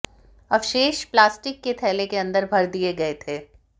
अवशेष प्लास्टिक के थैले के अंदर भर दिए गए थे